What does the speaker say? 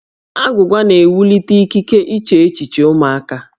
Agwụgwa na-ewulite ikike iche echiche ụmụaka